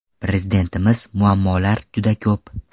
Prezidentimiz muammolar juda ko‘p.